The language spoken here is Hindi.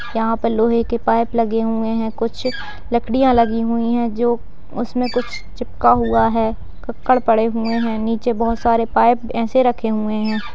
यहाँ पे लोहे के पाइप लगे हुए हैं कुछ लकड़ियां लगी हुई है जो उसमें कुछ चिपका हुआ है ककड़ पड़े हुए है नीचे बहोत सारे पाइप ऐसे रखे हुए हैं।